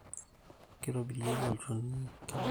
Kitobirieki olchoni nkilani